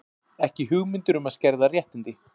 Ekki hugmyndir um að skerða réttindi